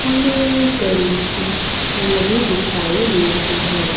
हमें बड़ी सी नदी दिखाई दे रही है।